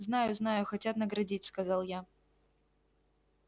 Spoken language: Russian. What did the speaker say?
знаю знаю хотят наградить сказал я